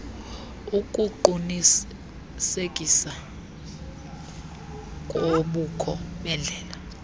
ukuqunisekisa kobukho bendlela